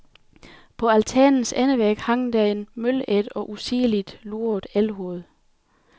På altanens endevæg hang der et mølædt og usigeligt lurvet elghoved.